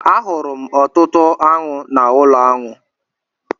A hụrụ m ọtụtụ aṅụ n'ụlọ aṅụ